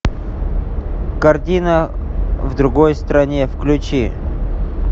картина в другой стране включи